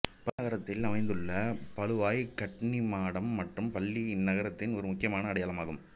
பாலுவாய் நகரத்தில் அமைந்துள்ள பாலுவாய் கன்னிமாடம் மற்றும் பள்ளி இந்நகரத்தின் ஒரு முக்கியமான அடையாளமாகும்